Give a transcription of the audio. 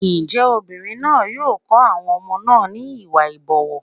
Ǹjẹ́ obìnrin náà yóò kọ́ àwọn ọmọ náà ní Ìwà ìbọ̀wọ̀?